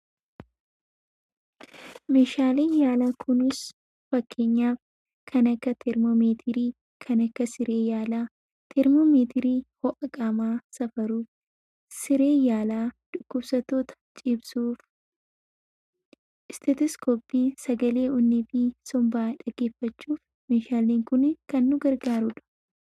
Meeshaaleen yaalaa kunis fakkeenyaaf kan akka Teermoomeetirii, kan akka siree yaalaa. Teermoomeetiriin ho'a qaamaa safaruuf, sireen yaalaa dhukkubsattoota ciibsuu, Isteeteskooppiin sagalee onnee fi sombaa dhaggeeffachuuf meeshaaleen kun kan nu gargaarudha.